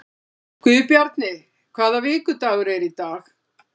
Guðbjarni, hvaða vikudagur er í dag?